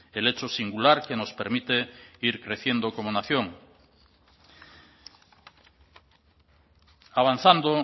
el hecho singular que nos permite ir creciendo como nación avanzando